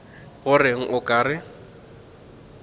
go reng o ka re